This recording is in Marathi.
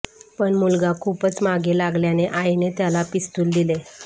पण मुलगा खूपच मागे लागल्याने आईने त्याला पिस्तूल दिले